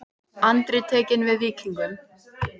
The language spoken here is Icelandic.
Andri tekinn við Víkingum